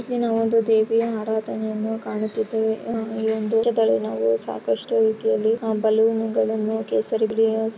ಇಲ್ಲಿ ನಾವು ದೇವಿಯ ಆರಾಧನೆಯನ್ನು ಕಾಣುತ್ತಿದ್ದೇವೆ ಇಲ್ಲಿ ನಾವು ಸಾಕಷ್ಟು ರೀತಿಯಲ್ಲಿ ಬಲೂನ್ ಗಳನ್ನು ಕೇಸರಿ ಗ್ರೀನ್ --